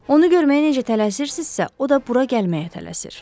Onu görməyə necə tələsirsizsə, o da bura gəlməyə tələsir.